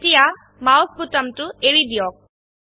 এতিয়া মাউস বোতামটো এৰি দিয়ক